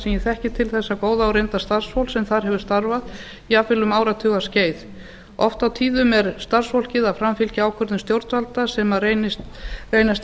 ég þekki til þessa góða og reynda starfsfólks sem þar hefur starfað jafnvel um áratugaskeið oft á tíðum er starfsfólkið að framfylgja ákvörðun stjórnvalda sem reynast